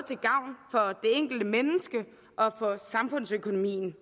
for enkelte menneske og for samfundsøkonomien